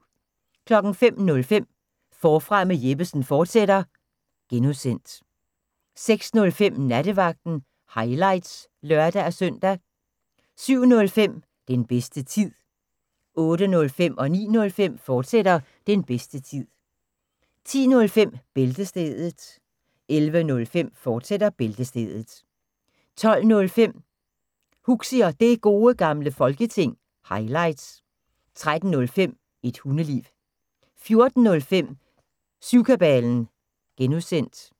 05:05: Forfra med Jeppesen fortsat (G) 06:05: Nattevagten – highlights (lør-søn) 07:05: Den bedste tid 08:05: Den bedste tid, fortsat 09:05: Den bedste tid, fortsat 10:05: Bæltestedet 11:05: Bæltestedet, fortsat 12:05: Huxi og Det Gode Gamle Folketing – highlights 13:05: Et Hundeliv 14:05: Syvkabalen (G)